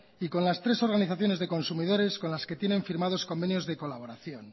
y con las tres organizaciones de consumidores con las que tienen firmados convenios de colaboración